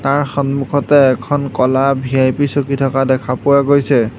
তাৰ সন্মুখতে এখন ক'লা ভি_আই_পি চকী থকা দেখা পোৱা গৈছে।